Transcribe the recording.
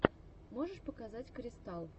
можешь показать кристал